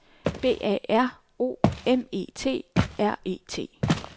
B A R O M E T R E T